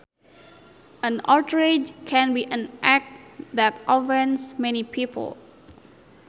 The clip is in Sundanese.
An outrage can be an act that offends many people